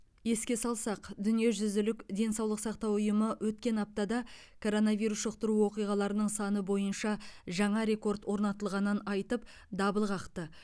еске салсақ дүниежүзілік денсаулық сақтау ұйымы өткен аптада коронавирус жұқтыру оқиғаларының саны бойынша жаңа рекорд орнатылғанын айтып дабыл қақты